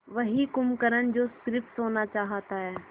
वही कुंभकर्ण जो स़िर्फ सोना चाहता है